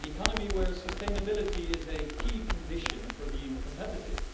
an economy where sustainability is a key condition for being competitive.